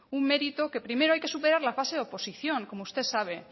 un mérito que primero hay que superar la fase de oposición como usted sabe